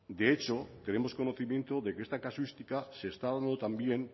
de hecho tenemos conocimiento de que esta casuística se está dando también